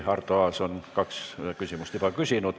Arto Aas on kaks küsimust juba küsinud.